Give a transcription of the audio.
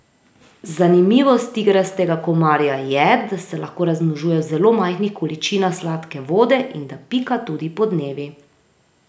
Zanimivost tigrastega komarja je, da se lahko razmnožuje v zelo majhnih količinah sladke vode in da pika tudi podnevi.